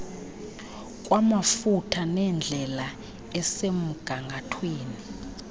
kwamafutha nendlela esemgangathweni